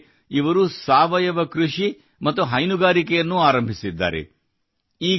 ವಿಶೇಷವೆಂದರೆ ಇವರು ಸಾವಯವ ಕೃಷಿ ಮತ್ತು ಹೈನುಗಾರಿಕೆಯನ್ನೂ ಆರಂಭಿಸಿದ್ದಾರೆ